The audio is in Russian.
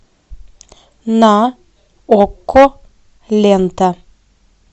на окко лента